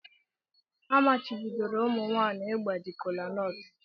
Amachibidoro ụmụ nwanyị ịgbaji kolanut.